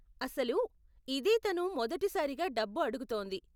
అసలు, ఇదే తను మొదటి సారిగా డబ్బు అడుగుతోంది.